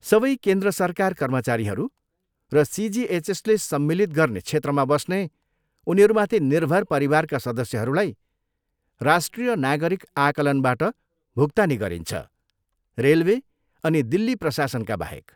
सबै केन्द्र सरकार कर्मचारीहरू र सिजिएचएसले सम्मिलित गर्ने क्षेत्रमा बस्ने उनीहरूमाथि निर्भर परिवारका सदस्यहरूलाई राष्ट्रिय नागरिक आकलनबाट भुक्तानी गरिन्छ, रेलवे अनि दिल्ली प्रशासनका बाहेक।